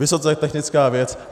Vysoce technická věc.